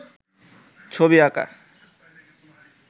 ছবি আঁকা